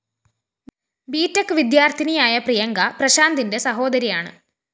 BTech വിദ്യാര്‍ഥിനിയായ പ്രിയങ്ക പ്രശാന്തിന്റെ സഹോദരിയാണ്